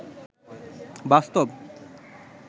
বাস্তব